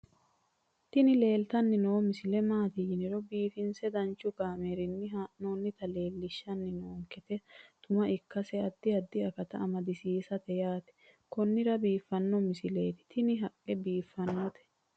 tini leeltanni noo misile maaati yiniro biifinse danchu kaamerinni haa'noonnita leellishshanni nonketi xuma ikkase addi addi akata amadaseeti yaate konnira biiffanno misileeti tini tini haqqe biiffannote